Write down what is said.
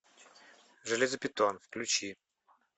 железобетон включи